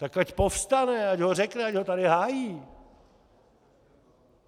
Tak ať povstane, ať ho řekne, ať ho tady hájí.